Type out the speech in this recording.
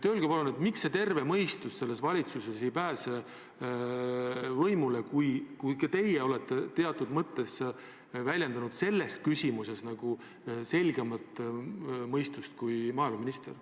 Öelge palun, miks terve mõistus selles valitsuses ei pääse võimule, kuigi ka teie olete selles küsimuses väljendanud tervemat mõistust kui maaeluminister.